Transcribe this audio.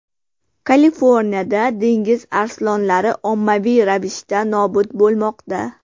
Kaliforniyada dengiz arslonlari ommaviy ravishda nobud bo‘lmoqda.